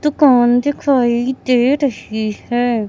दुकान दिखाई दे रही है।